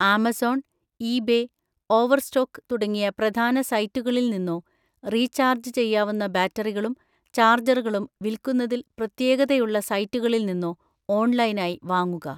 Amazon, eBay, Overstock തുടങ്ങിയ പ്രധാന സൈറ്റുകളിൽ നിന്നോ, റീചാർജ് ചെയ്യാവുന്ന ബാറ്ററികളും ചാർജറുകളും വിൽക്കുന്നതിൽ പ്രത്യേകതയുള്ള സൈറ്റുകളിൽ നിന്നോ ഓൺലൈനായി വാങ്ങുക.